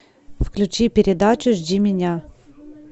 включи передачу жди меня